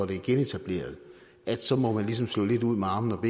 det er genetableret så må man ligesom slå lidt ud med armene og